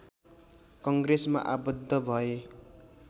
कङ्ग्रेसमा आबद्ध भए